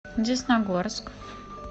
десногорск